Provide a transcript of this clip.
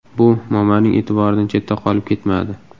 Bu Momaning e’tiboridan chetda qolib ketmadi.